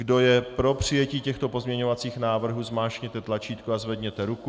Kdo je pro přijetí těchto pozměňovacích návrhů, zmáčkněte tlačítko a zvedněte ruku.